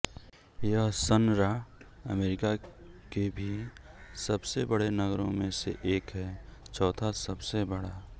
यह संरा अमेरिका के भी सबसे बड़े नगरों में से एक है चौथा सबसे बड़ा